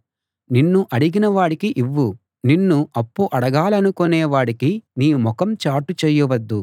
నిన్ను అడిగిన వాడికి ఇవ్వు నిన్ను అప్పు అడగాలనుకొనే వాడికి నీ ముఖం చాటు చేయవద్దు